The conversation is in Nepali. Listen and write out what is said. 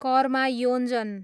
कर्मा योञ्जन